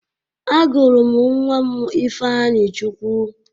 Agụrụ m nwa m Ifeanyịchukwu.